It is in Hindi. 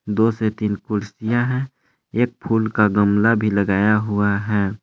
दो से तीन कुर्सियां हैं एक फूल का गमला भी लगाया हुआ है।